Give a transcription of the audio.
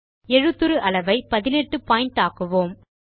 எழுத்துரு அளவை 18 பாயிண்ட் ஆக்குவோம்